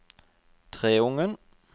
Treungen